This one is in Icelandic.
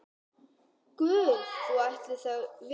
Guð ætli þau viti.